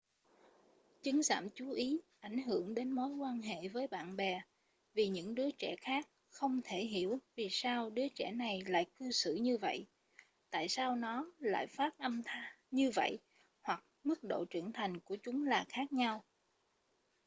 chứng giảm chú ý ảnh hưởng đến mối quan hệ với bạn bè vì những đứa trẻ khác không thể hiểu vì sao đứa trẻ này lại cư xử như vậy tại sao nó lại phát âm như vậy hoặc mức độ trưởng thành của chúng là khác nhau